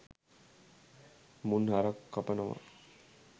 මුන් හරක් කපනව.